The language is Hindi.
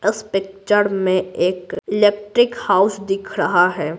इस पिक्चर में एक इलेक्ट्रिक हाउस दिख रहा है।